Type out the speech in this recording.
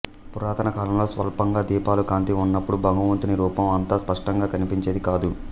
పురాతన కాలంలో స్వల్పంగా దీపాల కాంతి ఉన్నపుడు భగవంతుని రూపం అంత స్పష్టంగా కనిపించేది కాదు